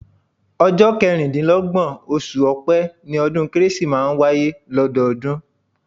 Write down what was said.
Ọjọ́ kẹrìndínlọ́gbọ̀n, oṣù ọ̀pẹ́ ni ọdún kérésì máa ń wáyé lọ́dọọdún